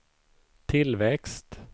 tillväxt